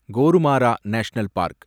Gorumara national park